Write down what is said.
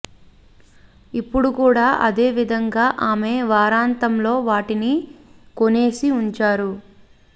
ఇప్పుడు కూడా అదే విధంగా ఆమె వారాంతంలో వాటిని కొనేసి ఉంచారు